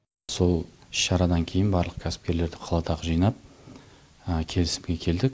сол іс шарадан кейін барлық кәсіпкерлерді қаладағы жинап келісімге келдік